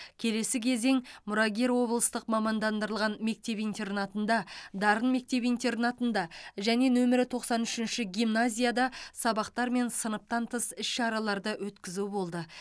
келесі кезең мұрагер облыстық мамандандырылған мектеп интернатында дарын мектеп интернатында және нөмірі тоқсан үшінші гимназияда сабақтар мен сыныптан тыс іс шараларды өткізу болды